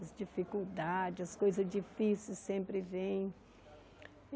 as dificuldades, as coisas difíceis sempre vêm.